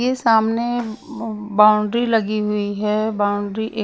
ये सामने बाउंड्री लगी हुई है बाउंड्री एक --